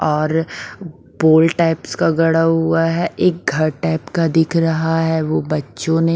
और pole types का गड़ा हुआ है एक घर टाइप का दिख रहा है वो बच्चों ने--